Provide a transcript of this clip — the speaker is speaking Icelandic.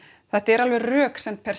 þetta er alveg röksemd per